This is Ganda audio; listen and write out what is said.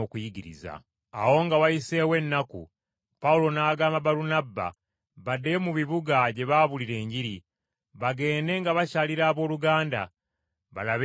Awo nga wayiseewo ennaku Pawulo n’agamba Balunabba baddeyo mu bibuga gye baabuulira Enjiri, bagende nga bakyalira abooluganda, balabe nga bwe bali.